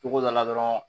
Togo dɔ la dɔrɔn